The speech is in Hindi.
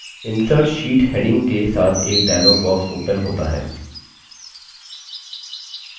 insert sheet heading के साथ एक dialog box opens होता है